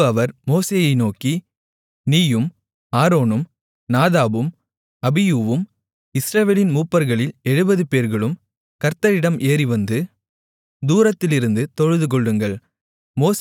பின்பு அவர் மோசேயை நோக்கி நீயும் ஆரோனும் நாதாபும் அபியூவும் இஸ்ரவேலின் மூப்பர்களில் எழுபதுபேர்களும் கர்த்தரிடம் ஏறிவந்து தூரத்திலிருந்து தொழுதுகொள்ளுங்கள்